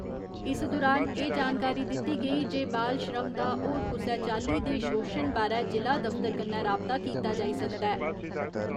इस दुरान एह् जानकारी दित्ती गेई जे बाल श्रम दा होर कुसै चाल्ली दे शोशन बारै जि'ला दफतर कन्नै राबता कीता जाई सकदा ऐ।